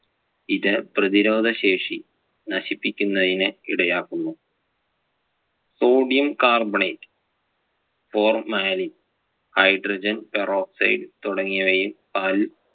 ഇത് പ്രതിരോധ ശേഷി നശിപ്പിക്കുന്നതിന് ഇടയാക്കുന്നു. Sodium Carbonate, formalin, hydrogen peroxide തുടങ്ങിയവയും പാലിൽ